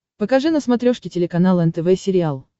покажи на смотрешке телеканал нтв сериал